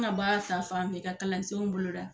An ka bɛ kɛ kalansenw bolo da.